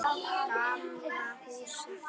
Gamla húsið.